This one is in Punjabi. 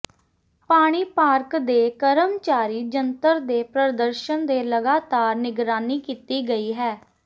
ਪਾਣੀ ਪਾਰਕ ਦੇ ਕਰਮਚਾਰੀ ਜੰਤਰ ਦੇ ਪ੍ਰਦਰਸ਼ਨ ਦੇ ਲਗਾਤਾਰ ਨਿਗਰਾਨੀ ਕੀਤੀ ਗਈ ਹੈ